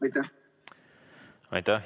Aitäh!